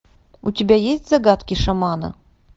у тебя есть загадки шамана